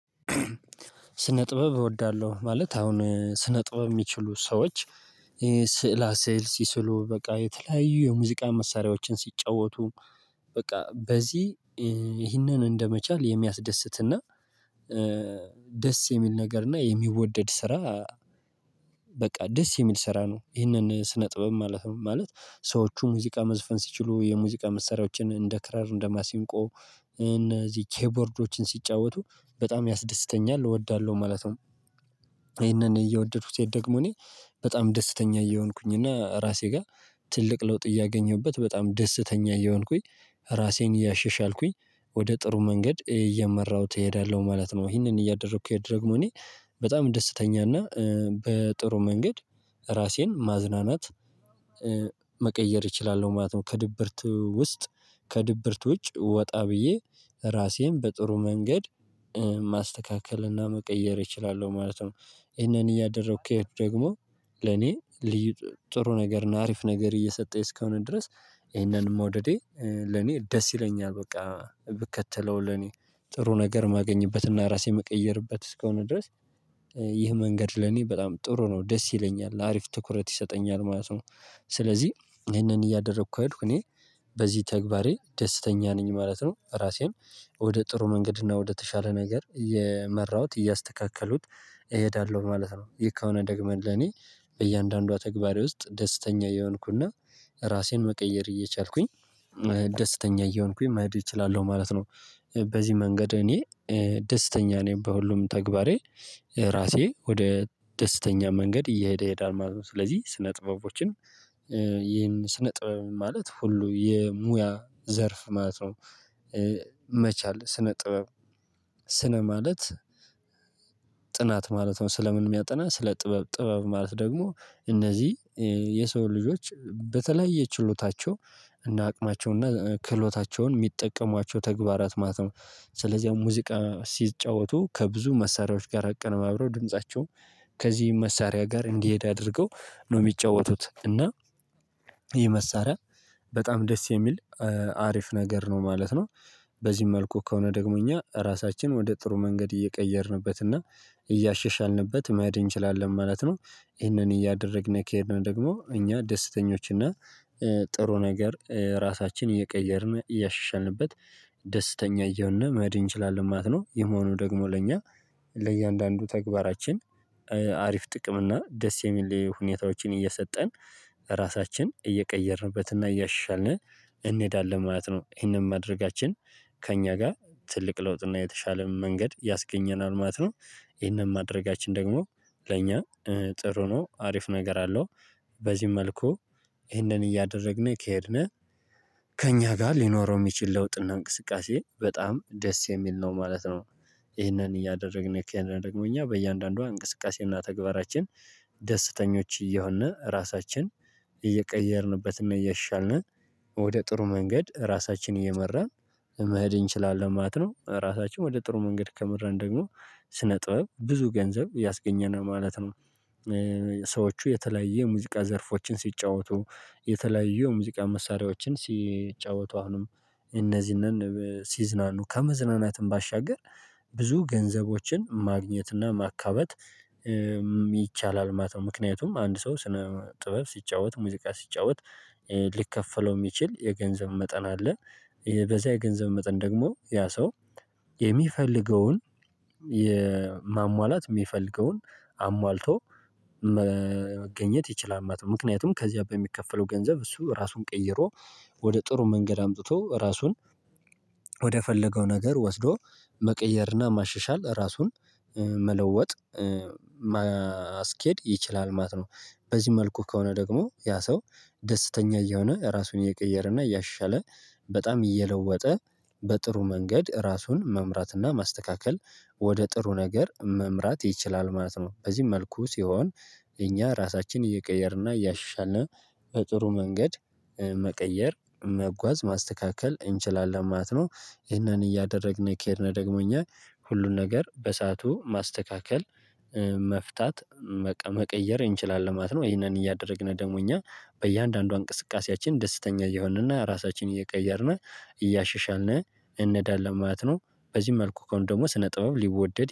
ስነ ጥበብ እወዳለሁ ማለት አሁን ስነ ጥበብ የሚችሉ ሰዎች ስዕላ ስዕል ሲስሉ በቃ የተለያዩ የሙዚቃ መሳሪያዎችን ሲጫወቱ። በቃ በዚህ ይህንን እንደመቻል የሚያስደስት እና ደስ የሚል ነገር እና የሚወደድ ስራ። በቃ ደስ የሚል ስራ ነው ይሄንን ስነ ጥበብ ማለት ነው ማለት ሰዎቹ ሙዚቃ መዝፈን ሲችሉ የሙዚቃ መሰሪያዎችን እንደ ክራር እንደ ማሲንቆ እነዚህ ኬቦርዶችን ሲጫወቱ በጣም ያስደስተኛል እወዳለሁ ማለት ነው። ይሄንን እየወደዱኩት ስሄድ ደግሞ እኔ በጣም ደስተኛ እየሆንኩኝ እና ራሴ ጋር ትልቅ ለውጥ እያገኘሁበት በጣም ደስተኛ እየሆንኩኝ ራሴን እያሸሻልኩኝ ወደ ጥሩ መንገድ እየመራሁት እሄዳለሁ ማለት ነው። ይሄንን እያደረኩ ሄድ ደግሞ እኔ በጣም ደስተኛ እና በጥሩ መንገድ ራሴን ማዝናናት መቀየር እችላለሁ ማለት ነው። ከድብርት ውስጥ ከድብርት ውጭ ወጣ ብዬ ራሴን በጥሩ መንገድ ማስተካከል እና መቀየር እችላለሁ ማለት ነው። ይሄንን እያደረኩ ከሄድኩ ደግሞ ለኔ ልዩ ጥሩ ነገር እና አሪፍ ነገር እየሰጠኝ እስከሆነ ድረስ። ይሄንንም መውደዴ ለኔ ደስ ይለኛል በቃ ብከተለው ለኔ ጥሩ ነገር ማገኝበት እና ራሴን ምቀየርበት እስከሆነ ድረስ። ይህ መንገድ ለኔ በጣም ጥሩ ነው ደስ ይለኛል አሪፍ ትኩረት ይሰጠኛል ማለት ነው። ስለዚህ ይሄንን እያደረኩ ከሄድኩ እኔ በዚህ ተግባሬ ደስተኛ ነኝ ማለት ነው ራሴን ወደ ጥሩ መንገድ እና ወደተሻለ ነገር እየመራሁት እያስተካከሉት እሄዳለሁ ማለት ነው። ይህ ከሆነ ደግሞ ለኔ በእያንዳንዷ ተግባሬ ውስጥ ደስተኛ የሆንኩ እና እና ራሴን መቀየር እየቻልኩኝ ደስተኛ እየሆንኩኝ መሄድ እችላለሁ ማለት ነው። በዚህ መንገድ እኔ ደስተኛ ነኝ በሁሉም ተግባሬ ራሴ ወደ ደስተኛ መንገድ እየሄደ ይሄዳል ማለት ነው። ስለዚህ ስነ ጥበቦችን ይሄን ስነ ጥበብ ማለት ሁሉ የሙያ ዘርፍ ማለት ነው። መቻል ስነ ጥበብ ስነ ማለት ጥናት ማለት ነው። ስለ ምን የሚያጠና ስለ ጥበብ ጥበብ ማለት ደግሞ እነዚህ የሰው ልጆች በተለያየ ችሎታቸው እና አቅማቸውን እና ክህሎታቸውን የሚጠቀሟቸው ተግባራት ማለት ነው። ስለዚህ ሙዚቃ ሲጫወቱ ከብዙ መሳሪያዎች ጋር አቀነባብረው ድምፃቸውም ከዚህ መሳሪያ ጋር እንዲሄድ አድርገው ነው የሚጫወቱት እና ይህ መሳሪያ በጣም ደስ የሚል አሪፍ ነገር ነው ማለት ነው። በዚህም መልኩ ከሆነ ደግሞ እኛ ራሳችን ወደ ጥሩ መንገድ እየቀየርንበት እና እያሸሻልንበት መሄድ እንችላለን ማለት ነው። ይሄንን እያደረግን ከሄድን ደግሞ እኛ ደስተኞች እና ጥሩ ነገር ራሳችን እየቀየርን እያሻሻልንበት ደስተኛ እየሆንን መሄድ እንችላለን ማለት ነው። ይህ መሆኑ ደግሞ ለእኛ ለእያንዳንዱ ተግባራችን አሪፍ ጥቅም እና ደስ የሚል ሁኔታዎችን እየሰጠን ራሳችን እየቀየርንበት እና እያሻሻልን እንሄዳለን ማለት ነው። ይሄንን ማድረጋችን ከእኛ ጋር ትልቅ ለውጥ እና የተሻለ መንገድ ያስገኘናል ማለት ነው። ይሄንን ማድረጋችን ደግሞ ለእኛ ጥሩ ነው አሪፍ ነገር አለው በዚህም መልኩ ይሄንን እያደረግን ከሄድን ከእኛ ጋር ሊኖረው የሚችል ለውጥ እና እንቅስቃሴ በጣም ደስ የሚል ነው ማለት ነው። ይህንን እያደረግን ከሄድን ደግሞ እኛ በእያንዳንዷ እንቅስቃሴ እና ተግባራችን ደስተኞች እየሆን ራሳችን እየቀየርንበት እና እያሻሻልን ወደ ጥሩ መንገድ ራሳችንን እየመራን መሄድ እንችላለን ማለት ነው። ራሳችን ወደ ጥሩ መንገድ ከመራን ደግሞ ስነ ጥበብ ብዙ ገንዘብ ያስገኘናል ማለት ነው። ሰዎቹ የተለያየ የሙዚቃ ዘርፎችን ሲጫወቱ የተለያዩ የሙዚቃ መሳሪያዎችን ሲጫወቱ አሁንም እነዚህን ሲዝናኑ ከመዝናናትም ባሻገር ብዙ ገንዘቦችን ማግኘት እና ማካበት ይቻላል ማለት ነው። ምክንያቱም አንድ ሰው ስነ ጥበብ ሲጫወት ሙዚቃ ሲጫወት ሊከፈለው የሚችል የገንዘብ መጠን አለ። ይሄ በዚያ የገንዘብ መጠን ደግሞ ያ ሰው የሚፈልገውን የማሟላት የሚፈልገውን አሟልቶ መገኘት ይችላል ማለት ነው። ምክንያቱም ከዚያ በሚከፈለው ገንዘብ እሱ ራሱን ቀይሮ ወደ ጥሩ መንገድ አምጥቶ ራሱን ወደ ፈለገው ነገር ወስዶ መቀየር እና ማሻሻል ራሱን መለወጥ ማስኬድ ይችላል ማለት ነው። በዚህ መልኩ ከሆነ ደግሞ ያ ሰው ደስተኛ እየሆነ ራሱን እየቀየረ እና እያሻሻለ በጣም እየለወጠ በጥሩ መንገድ ራሱን መምራት እና ማስተካከል ወደ ጥሩ ነገር መምራት ይችላል ማለት ነው። በዚህ መልኩ ሲሆን እኛ ራሳችንን እየቀየር እና እያሻሻልን በጥሩ መንገድ መቀየር መጓዝ ማስተካከል እንችላለን ማለት ነው። ይህንን እያደረግን ከሄድን ደግሞ እኛ ሁሉን ነገር በሰአቱ ማስተካከል መፍታት መቀየር እንችላለን ማለት ነው። ይሄንን እያደረግን ደግሞ እኛ በእያንዳንዷ እንቅስቃሴያችን ደስተኛ እየሆንን እና ራሳችን እየቀየርን እያሻሻልን እንሄዳለን ማለት ነው። በዚህ መልኩ ከሆነ ደግሞ ስነ ጥበብ ሊወደድ